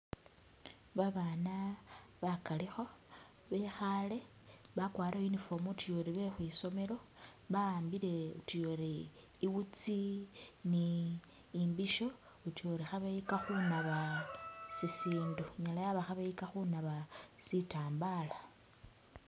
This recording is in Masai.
Babana bakalikho bekhale bakwarire uniform utuya ori be khwisomelo ba'ambile utuya ori iwutsi ni imbisho, utuya ori khabeyika khunaba sisindu, inyala yaba khabeyika khunaba sitambala